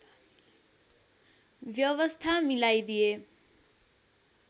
व्यवस्था मिलाइदिए